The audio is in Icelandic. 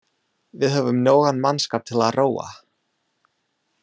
Við höfum nógan mannskap til að róa.